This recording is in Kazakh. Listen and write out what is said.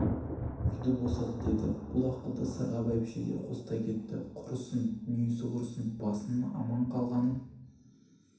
үйді босат деді бұл ақылды сырға бәйбіше де қостай кетті құрысын дүниесі құрысын басыңның аман қалғанын